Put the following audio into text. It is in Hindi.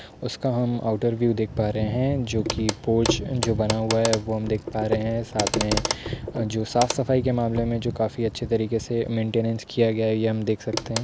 उसका हम आउटर व्यू देख पा रहे हैं जो की पोच जो बना हुआ हैं। वो हम देख पा रहे हैं। साथ मे जो साफ सफाई के मामले मे जो काफी अच्छे तरीखे से मैंटेनेंस किया गया हैं। ये हम देख सकते हैं।